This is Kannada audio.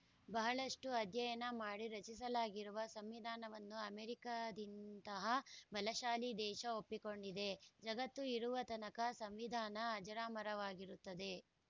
ಬಹಳಷ್ಟುಅಧ್ಯಯನ ಮಾಡಿ ರಚಿಸಲಾಗಿರುವ ಸಂವಿಧಾನವನ್ನು ಅಮೆರಿಕದಿಂತಹ ಬಲಶಾಲಿ ದೇಶ ಒಪ್ಪಿಕೊಂಡಿದೆ ಜಗತ್ತು ಇರುವತನಕ ಸಂವಿಧಾನ ಅಜರಾಮರವಾಗಿರುತ್ತದೆ